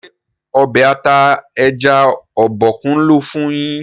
ṣe Ọbẹ̀ ata ẹja Obokun lò fún yín?